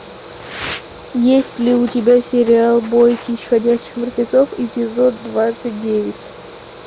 есть ли у тебя сериал бойтесь ходячих мертвецов эпизод двадцать девять